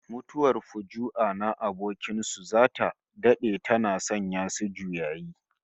Mutuwar fuju'a na abokin su zata dade tana sanya su juyayi